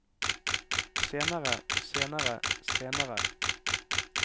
senere senere senere